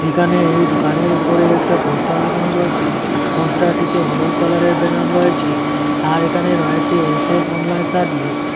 এখানে এই দোকানের উপরে একটা পোস্টার লাগানো রয়েছে পোস্টারটিতে হলুদ কালারের ব্যানার রয়েছে আর এখানে রয়েছে এস_এফ অনলাইন সার্ভিস ।